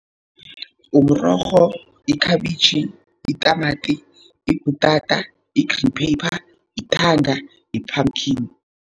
Umrorho, ikhabitjhi, itamati, ibhutata, i-green pepper, ithanga, i-pumkin.